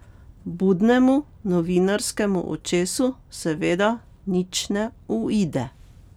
Budnemu novinarskemu očesu seveda nič ne uide.